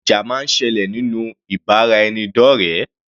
Ìjà máa ń sẹlẹ̀ nínú ìbáraẹnidọ́rẹ.